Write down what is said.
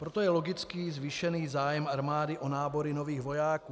Proto je logický zvýšený zájem armády o nábory nových vojáků.